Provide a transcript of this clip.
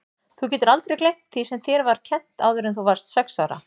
Þú getur aldrei gleymt því sem þér var kennt áður en þú varðst sex ára.